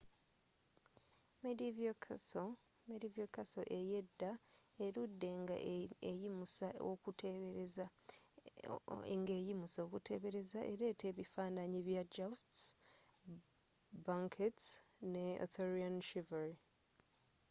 medieval castle eyedda eludde nga eyimusa okutebereza eleeta ebifanaanyi ebya jousts banquets ne arthurian chivalry